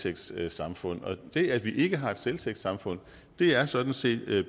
et selvtægtssamfund og det at vi ikke har et selvtægtssamfund er sådan set